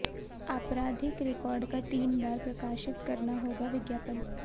आपराधिक रिकॉर्ड का तीन बार प्रकाशित करना होगा विज्ञापन